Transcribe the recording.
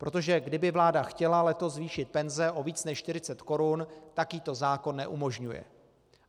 Protože kdyby vláda chtěla letos zvýšit penze o víc než 40 korun, tak jí to zákon neumožňuje.